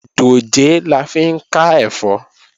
Dòjé la fi ń ká ẹ̀fọ́